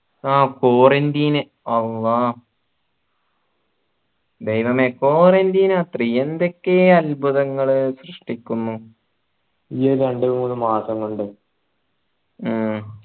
ആ quarantine അല്ലാഹ് ദൈവമേ quarantine നത്രെ എന്തൊക്കെയാ അത്ഭുതങ്ങൾ സൃഷ്ടിക്കുന്നു ഈ ഒരു രണ്ട് മൂന്ന് മാസം കൊണ്ട് ഉം